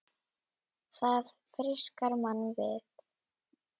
Það frískar mann við.